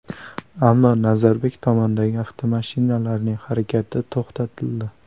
Ammo Nazarbek tomondagi avtomashinalarning harakati to‘xtatildi.